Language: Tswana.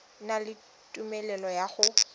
na le tumelelo ya go